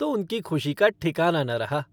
तो उनकी खुशी का ठिकाना न रहा।